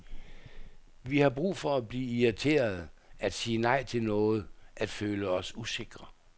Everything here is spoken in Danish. Vi har brug for at blive irriterede, at sige nej til noget, at føle os usikre.